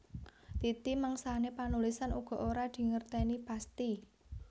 Titi mangsané panulisan uga ora dingertèni pasthi